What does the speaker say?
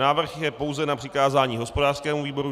Návrh je pouze na přikázání hospodářskému výboru.